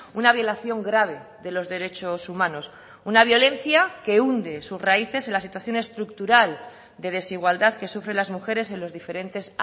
una violación grave de los derechos humanos una violencia que hunde sus raíces en la situación estructural de desigualdad que sufren las mujeres en los diferentes